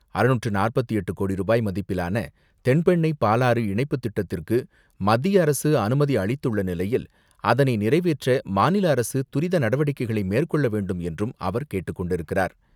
அறுநூற்று நாற்பத்து எட்டு கோடி ரூபாய் மதிப்பிலான தென்பெண்ணை பாலாறு இணைப்பு திட்டத்திற்கு மத்திய அரசு அனுமதி அளித்துள்ள நிலையில், அதனை நிறைவேற்ற மாநில அரசு துரித நடவடிக்கைகளை மேற்கொள்ள வேண்டும் என்றும் அவர் கேட்டுக்கொண்டிருக்கிறார்.